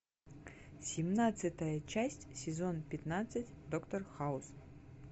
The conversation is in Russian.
семнадцатая часть сезон пятнадцать доктор хаус